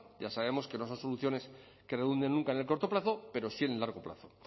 ya sabemos que no son soluciones que redunden en el corto plazo pero sí en el largo plazo